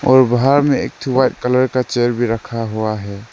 और वहां में एक कलर का चेयर भी रखा हुआ है।